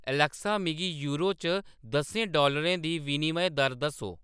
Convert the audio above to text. Alexa मिगी euro च दस्सें डॉलरें दी विनिमय दर दस्सो